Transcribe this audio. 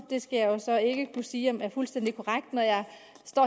skal jeg så ikke kunne sige om er fuldstændig korrekt når jeg